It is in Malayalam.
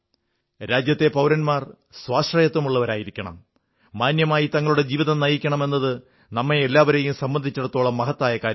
രാജ്യത്തെ പൌരന്മാർ സ്വാശ്രയത്വമുള്ളവരായിരിക്കണം മാന്യമായി തങ്ങളുടെ ജീവിതം നയിക്കണം എന്നത് നമ്മെ എല്ലാവരെയും സംബന്ധിച്ചിടത്തോളം മഹത്തായ കാര്യമാണ്